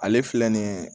Ale filɛ nin ye